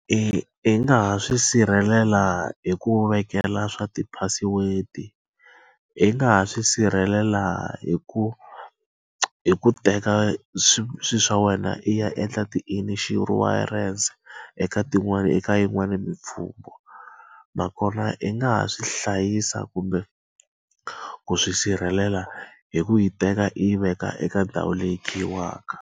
I nga ha swi sirhelela hi ku vekela swa ti-password-i, i nga ha swi sirhelela hi ku hi ku teka swilo swa wena i ya endla ti inshurense eka tin'wani eka yin'wani . Nakona i nga ha swi hlayisa kumbe ku swi sirhelela hi ku yi teka i veka eka ndhawu leyi khiyiwaka.